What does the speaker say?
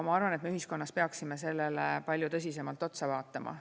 Ma arvan, et me ühiskonnas peaksime sellele palju tõsisemalt otsa vaatama.